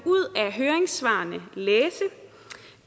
af høringssvarene læse